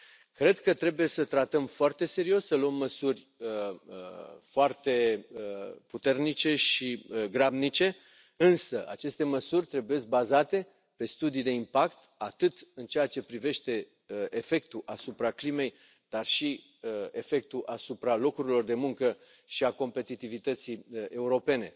Cred că trebuie să tratăm foarte serios, să luăm măsuri foarte puternice și grabnice, însă aceste măsuri trebuie bazate pe studii de impact, atât în ceea ce privește efectul asupra climei, dar și efectul asupra locurilor de muncă și a competitivității europene,